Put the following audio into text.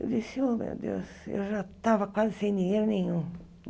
Eu disse, ô meu Deus, eu já estava quase sem dinheiro nenhum.